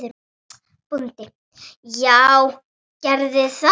BÓNDI: Já, gerið það.